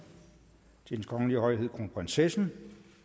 til hendes kongelige højhed kronprinsessen